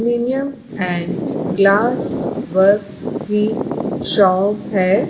Premium and glass works की shop है।